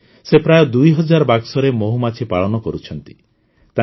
ଆଜି ସେ ପ୍ରାୟ ଦୁଇ ହଜାର ବାକ୍ସରେ ମହୁମାଛି ପାଳନ କରୁଛନ୍ତି